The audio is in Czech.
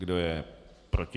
Kdo je proti?